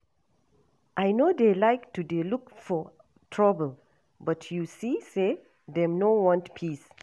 I no dey like to dey look for trouble but you see say dem no want peace